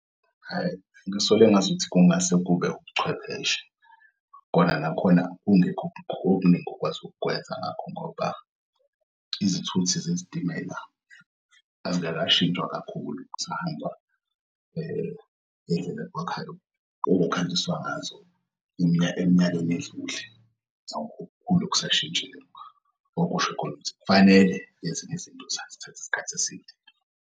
Hhayi, ngisole ngazuthi kungase kube ubuchwepheshe khona nakhona kungekho okuningi okwazi ukukwenza ngakho ngoba izithuthi zezitimela azikakashintshwa kakhulu kusahanjwa ngendlela okwakukhanyiswa ngazo eminyakeni edlule. Akukho okukhulu okusashintshile okusho khona ukuthi kufanele eziny'izinto zithatha isikhathi eside.